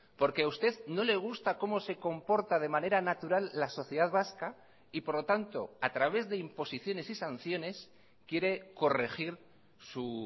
porque a usted no le gusta cómo se comporta de manera natural la sociedad vasca y por lo tanto a través de imposiciones y sanciones quiere corregir su